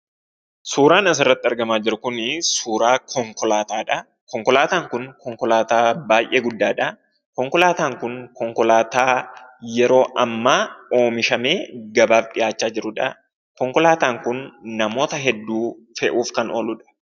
Suuraan as irratti argamaa jiru Kunii, suuraa konkolaataadha. Konkolaataan Kun konkolaataa baayyee guddaadhaa, konkolaataan Kun konkolaataa yeroo ammaa oomishamee gabaaf dhihaachaa jirudha. Konkolaataan Kun namoota hedduu fe'uuf kan ooludha.